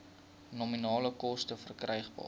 nominale koste verkrygbaar